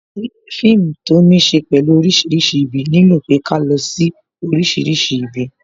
Fíìmù to ní ṣe pẹ̀lú orísìírísìí ibi, nílò pé ká lọ sí orísìírísìí ibi